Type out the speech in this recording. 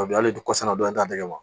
A bi hali dugu kɔsana dɔ in t'a dɛgɛ wa